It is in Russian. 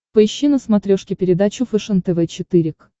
поищи на смотрешке передачу фэшен тв четыре к